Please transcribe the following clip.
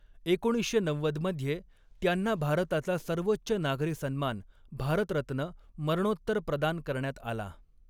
एकोणीसशे नव्वद मध्ये त्यांना भारताचा सर्वोच्च नागरी सन्मान, भारतरत्न, मरणोत्तर प्रदान करण्यात आला.